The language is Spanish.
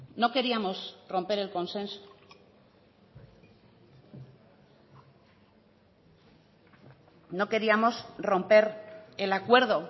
no queríamos romper el consenso no queríamos romper el acuerdo